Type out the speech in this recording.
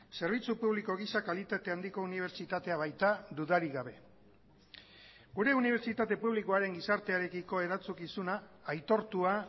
zerbitzu publiko gisa kalitate handiko unibertsitatea baita dudarik gabe gure unibertsitate publikoaren gizartearekiko erantzukizuna aitortua